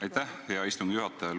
Aitäh, hea istungi juhataja!